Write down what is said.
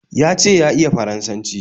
Ya ce ya iya Faransanci